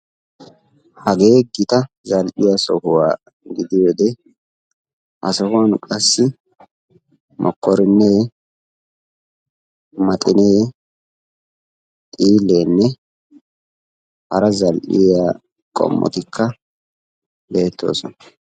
Hagee gita zal"iya sohuwan gidiyode ha sohuwan qassi mokkoriinne, maxxinnee, xiileenne hara zal"iya qommotikka beettoosona.